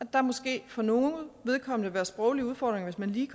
der måske for nogles vedkommende vil være sproglige udfordringer hvis man lige